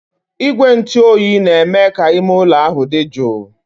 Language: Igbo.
Igwe ntụ oyi na-eme ka ime ụlọ ahụ dị jụụ.